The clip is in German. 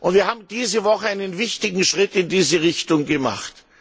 Wir haben diese Woche einen wichtigen Schritt in diese Richtung gemacht.